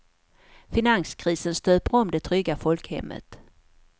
Finanskrisen stöper om det trygga folkhemmet.